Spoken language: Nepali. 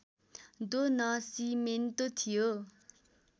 दो नासिमेन्तो थियो